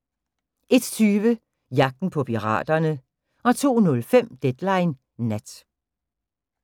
01:20: Jagten på piraterne 02:05: Deadline Nat